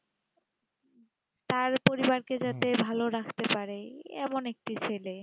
তার পরিবার কে যাতে ভালো রাখতে পারে এই এমন একটি ছেলে